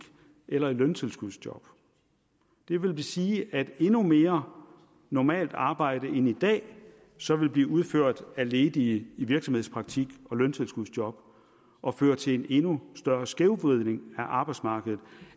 eller i løntilskudsjob det vil sige at endnu mere normalt arbejde end i dag så ville blive udført af ledige i virksomhedspraktik og løntilskudsjob og føre til en endnu større skævvridning af arbejdsmarkedet